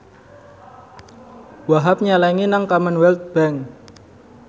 Wahhab nyelengi nang Commonwealth Bank